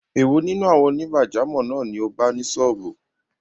Èwo nínú àwọn onígbàjámọ̀ náà ni o bá ni sọ́ọ̀bù?